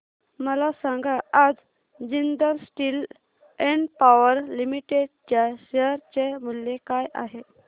मला सांगा आज Jindal steel and power limited च्या शेअर चे मूल्य काय आहे